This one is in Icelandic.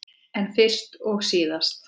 En fyrst og síðast.